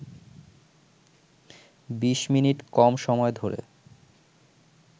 বিশ মিনিট কম সময় ধরে